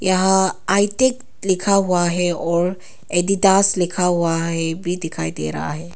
यहां आई_टेक लिखा हुआ है और एडीडास लिखा हुआ है भी दिखाई दे रहा है।